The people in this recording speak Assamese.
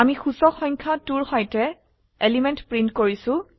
আমি সূচক সংখ্যা 2ৰ সৈতে এলিমেন্ট প্ৰিন্ট কৰিছো